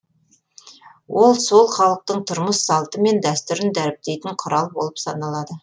ол сол халықтың тұрмыс салты мен дәстүрін дәріптейтін құрал болып саналады